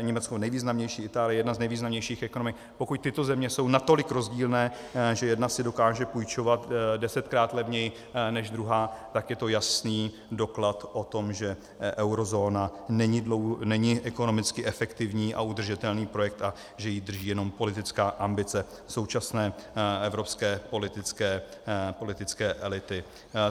Německo nejvýznamnější, Itálie jedna z nejvýznamnějších ekonomik, pokud tyto země jsou natolik rozdílné, že jedna si dokáže půjčovat desetkrát levněji než druhá, tak je to jasný doklad o tom, že eurozóna není ekonomicky efektivní a udržitelný projekt a že ji drží jenom politická ambice současné evropské politické elity.